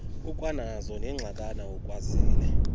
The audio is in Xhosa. ukwanazo neengxakana ukwazile